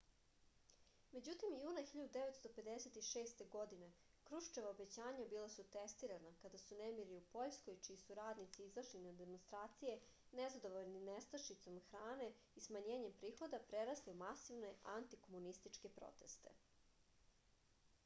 međutim juna 1956. godine kruščeva obećanja bila su testirana kada su nemiri u poljskoj čiji su radnici izašli na demonstracije nezadovoljni nestašicom hrane i smanjenjem prihoda prerasli u masovne antikomunističke proteste